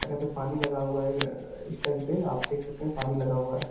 और यहाँ पे पानी लगा हुआ है अ स्टैन्ड पे (पर) आप देख सकते हैं पानी लगा हुआ है।